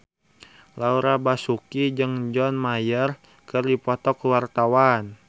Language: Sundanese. Laura Basuki jeung John Mayer keur dipoto ku wartawan